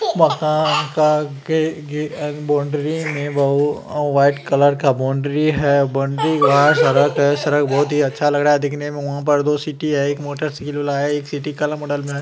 मकान का बॉउंड्री में वाइट कलर का बॉउंड्री है काफी अच्छा लग रहा है दिखने में वहाँ दो में है।